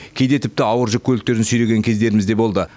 кейде тіпті ауыр жүк көліктерін сүйреген кездеріміз де болды